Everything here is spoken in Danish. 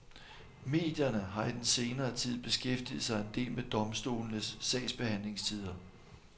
Medierne har i den senere tid beskæftiget sig en del med domstolenes sagsbehandlingstider.